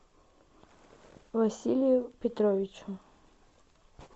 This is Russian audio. василию петровичу